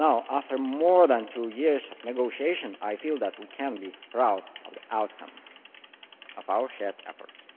After more than two years of negotiation, I feel that we can be proud of the outcome of our shared efforts.